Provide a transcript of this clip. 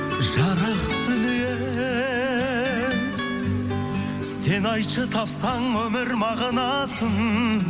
жарық дүние сен айтшы тапсаң өмір мағынасын